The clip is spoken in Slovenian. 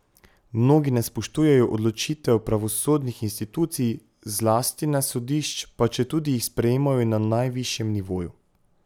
Mnogi ne spoštujejo odločitev pravosodnih institucij, zlasti ne sodišč, pa četudi jih sprejmejo na najvišjem nivoju.